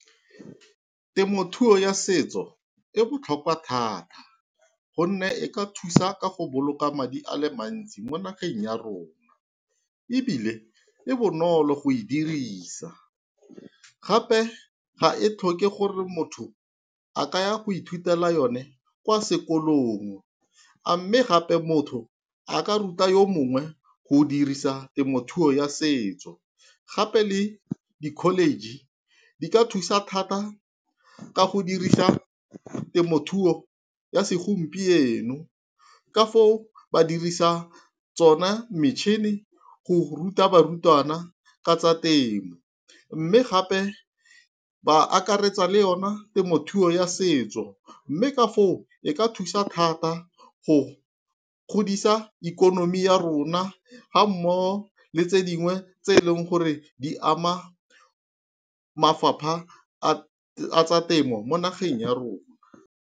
Temothuo ya setso e botlhokwa thata gonne e ka thusa ka go boloka madi a le mantsi mo nageng ya rona. Ebile e bonolo go e dirisa gape ga e tlhoke gore motho a ka ya go ithutela yone kwa sekolong. A mme gape motho a ka ruta yo mongwe go dirisa temothuo ya setso gape le di-college, di ka thusa thata ka go dirisa temothuo ya segompieno. Ka foo ba dirisa tsone metšhini go ruta barutwana ka tsa temo, mme gape ba akaretsa le yone temothuo ya setso. Mme ka foo e ka thusa thata go godisa ikonomi ya rona ga mmogo le tse dingwe tse e leng gore di ama mafapha a tsa temo mo nageng ya rona.